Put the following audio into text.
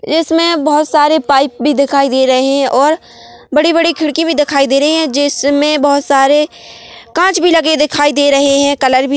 इसमें बहोत सारे पाइप भी दिखाई दे रहे है और बड़ी-बड़ी खिड़की भी दिखाई दे रही है जिसमें बहोत सारे कांच भी लगे दिखाई दे रहे है कलर भी--